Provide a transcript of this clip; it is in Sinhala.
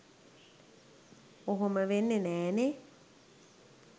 ඔහොම වෙන්නෙ නෑනෙ